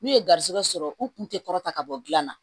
N'u ye garizigɛ sɔrɔ u kun tɛ kɔrɔt ka bɔ dilan na